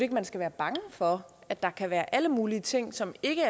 man skal være bange for at der kan være alle mulige ting som ikke